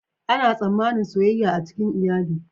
Ana tsammanin soyayya a cikin iyali.